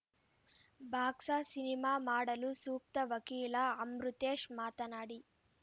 box cinema ಮಾಡಲು ಸೂಕ್ತ ವಕೀಲ ಅಮೃತೇಶ್‌ ಮಾತನಾಡಿ